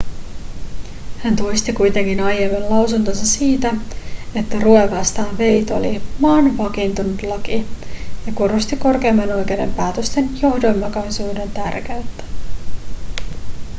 hän toisti kuitenkin aiemman lausuntonsa siitä että roe vastaan wade oli maan vakiintunut laki ja korosti korkeimman oikeuden päätösten johdonmukaisuuden tärkeyttä